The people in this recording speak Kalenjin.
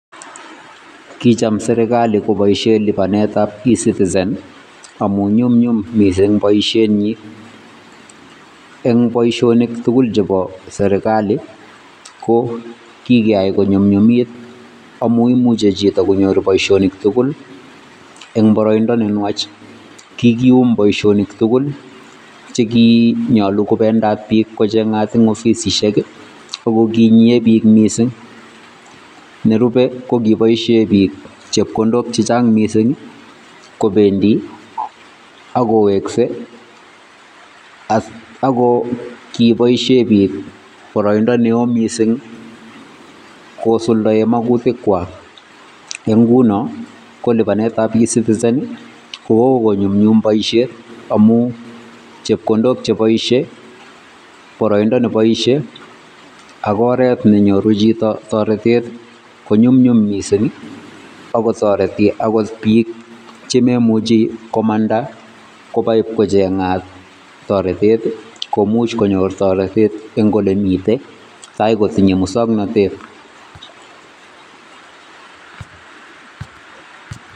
Kicham serikali koboishen libanetab ecitizen amun nyumnyum mising boishenyin eng' boishonik tukul chebo serikali ko keyai konyumnyumit amun imuche konyor chito boishonik tukul eng' boroindo nenwach, kikium boishonik tukul chekinyolu kocheng'at biik eng' ofisishek ak ko kinyie biik mising, nerube ko kiboishen biik chepkondok chechang mising kobendi ak kowekse ak ko kiboishen biik boroindo neoo mising kosuldoen makutikwak eng' ng'unon ko libanetab ecitizen ko kokonyumnyum boishet amun chepkondok cheboishe, boroindo neboishe ak oreet menyoru chito toretet konyumnyum mising ak kotoreti akot biik chemomuchi komanda iib kocheng'at toretet komuch konyor toretet eng' olemiten taai kotinye muswoknotet.